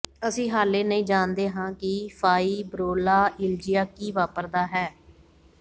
ਅਸੀਂ ਹਾਲੇ ਨਹੀਂ ਜਾਣਦੇ ਹਾਂ ਕਿ ਫਾਈਬ੍ਰੋਲਾਇਲਜੀਆ ਕੀ ਵਾਪਰਦਾ ਹੈ